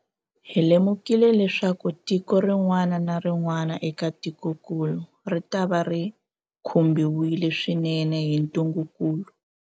Hi lemukile leswaku tiko rin'wana na rin'wana eka tikokulu ritava ri khumbiwile swinene hi ntungukulu.